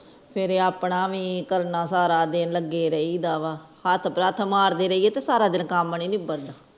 ਫੇਰ ਏ ਆਪਣਾ ਵੀ ਕਰਨਾ ਸਾਰਾ ਦਿਨ ਲਗੇ ਰਹਿੰਦਾ ਵ ਹੱਥ ਪੈਰ ਮਾਰਦੇ ਰਹੀਏ ਤੇ ਸਾਰਾ ਦਿਨ ਕੰਮ ਨੀ ਨਿਬੜਦਾ